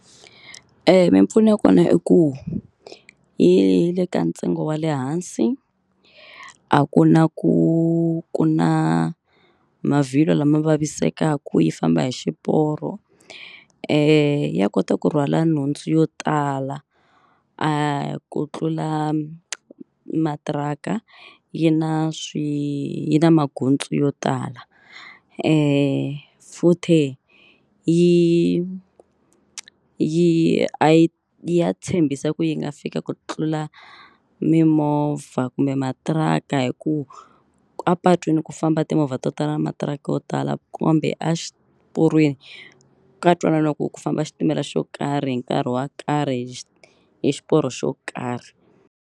mimpfuno ya kona i ku yi le ka ntsengo wa le hansi a ku na ku ku na mavhilwa lama vavisekaku yi famba hi xiporo ya kota ku rhwala nhundzu yo tala ku tlula matiraka yi na na magondzo yo tala futhe yi yi a yi ya tshembisa ku yi nga fika ku tlula mimovha kumbe matiraka hi ku apatwini ku famba timovha to tala matiraka yo tala kambe a xiporweni ka ntwananiwa ku ku famba xitimela xo karhi hi nkarhi wa karhi hi hi xiporo xo karhi.